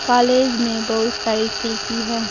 College में बहुत सारी खिड़की है।